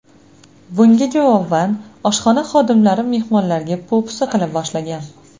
Bunga javoban, oshxona xodimlari mehmonlarga po‘pisa qila boshlagan.